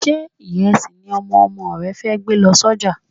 Ṣé ìrẹsì ni Ọmọ ọmọ rẹ fẹ́ gbé lọ sọ́jà?